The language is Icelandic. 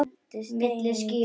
Milli ský- hnoðra.